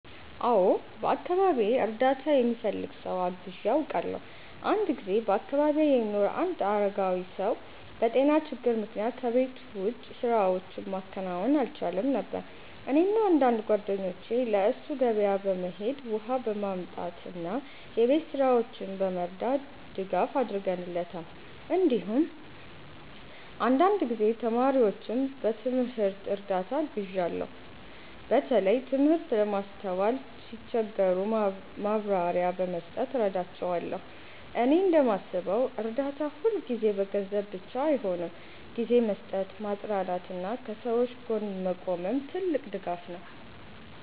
አዎ፣ በአካባቢዬ እርዳታ የሚፈልግ ሰው አግዤ አውቃለሁ። አንድ ጊዜ በአካባቢዬ የሚኖር አንድ አረጋዊ ሰው በጤና ችግር ምክንያት ከቤት ውጭ ስራዎችን ማከናወን አልቻለም ነበር። እኔና አንዳንድ ጓደኞቼ ለእሱ ገበያ በመሄድ፣ ውሃ በማምጣት እና የቤት ስራዎችን በመርዳት ድጋፍ አድርገንለታል። እንዲሁም አንዳንድ ጊዜ ተማሪዎችን በትምህርት እርዳታ አግዣለሁ፣ በተለይ ትምህርት ለማስተዋል ሲቸገሩ ማብራሪያ በመስጠት እረዳቸዋለሁ። እኔ እንደማስበው እርዳታ ሁልጊዜ በገንዘብ ብቻ አይሆንም፤ ጊዜ መስጠት፣ ማጽናናት እና ከሰዎች ጎን መቆምም ትልቅ ድጋፍ ነው።